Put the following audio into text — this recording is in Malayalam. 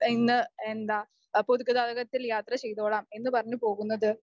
ഇന്ന് എന്താ പൊതുഗതാഗതത്തിൽ യാത്ര ചെയ്തോളാം എന്നു പറഞ്ഞു പോകുന്നത്?